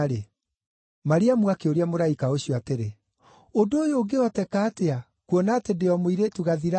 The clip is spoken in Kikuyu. Mariamu akĩũria mũraika ũcio atĩrĩ, “Ũndũ ũyũ ũngĩhoteka atĩa, kuona atĩ ndĩ o mũirĩtu gathirange?”